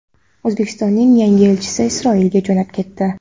O‘zbekistonning yangi elchisi Isroilga jo‘nab ketdi.